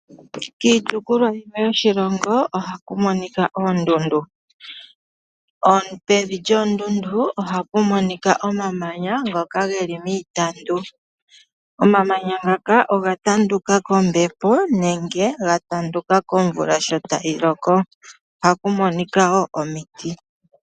Kiitopolwa yimwe yoshilongo ohaku monika oondundu. Pevi lyoondundu ohapu monika omamanya ngoka ge li miitandu. Omamanya ngaka oga tanduka kombepo nenge komvula sho tayi loko. Ohaku monika wo omiti.